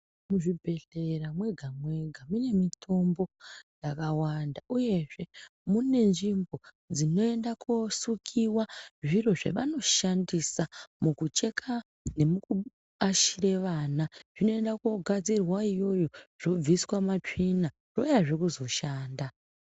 Muzvibhehleya mwega mwega mune mitombo yakawanda uyezve mune nzvimbo dzinoenda kosukiwa zviro zvavanoshandisa mukucheka nemukuashire vana zvinoenda kogadzirwe iyoyo zvobviswa matsvina zvouyahe kuzoshanda.